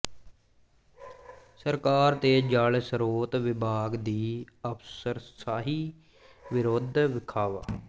ਸਰਕਾਰ ਤੇ ਜਲ ਸਰੋਤ ਵਿਭਾਗ ਦੀ ਅਫਸਰਸ਼ਾਹੀ ਵਿਰੁੱਧ ਵਿਖਾਵਾ